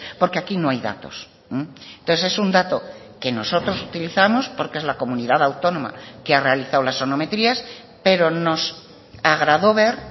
porque aquí no hay datos entonces es un dato que nosotros utilizamos porque es la comunidad autónoma que ha realizado las sonometrías pero nos agradó ver